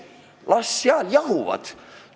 Las seal jahuvad!